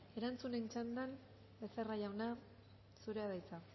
erantzunen txanda becerra jauna zurea da hitza